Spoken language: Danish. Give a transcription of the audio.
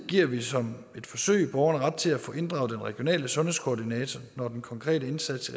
giver vi som et forsøg borgerne ret til at få inddraget den regionale sundhedskoordinater når den konkrete indsats